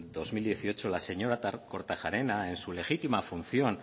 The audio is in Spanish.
dos mil dieciocho la señora kortajarena en su legítima función